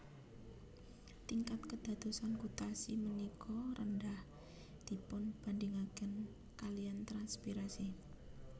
Tingkat kédadosan gutasi ménika rendah dipunbandingakén kaliyan transpirasi